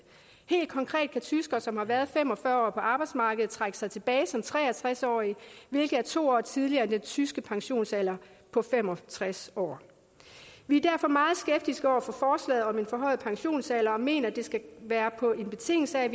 helt konkret kan tyskere som har været fem og fyrre år på arbejdsmarkedet trække sig tilbage som tre og tres årige hvilket er to år tidligere end den tyske pensionsalder på fem og tres år vi er derfor meget skeptiske over for forslaget om en forhøjet pensionsalder og mener det skal være på betingelse af at